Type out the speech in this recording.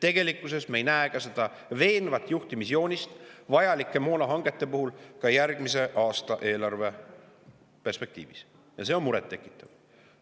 Tegelikkuses me ei näe veenvat juhtimisjoonist vajalike moonahangete puhul ka järgmise aasta eelarve perspektiivis ja see on muret tekitav.